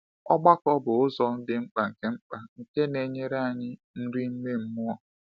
Ọgbakọ bụ ụzọ dị mkpa nke mkpa nke na-enyere anyị nri ime mmụọ.